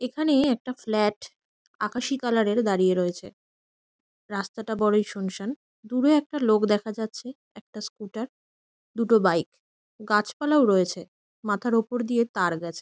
এখানে একটা ফ্ল্যাট আকাশি কালার -এর দাঁড়িয়ে রয়েছে। রাস্তাটা বড়োই শুনশান। দূরে একটা লোক দেখা যাচ্ছে। একটা স্কুটার দুটো বাইক গাছপালাও রয়েছে। মাথার ওপর দিয়ে তার গেছে।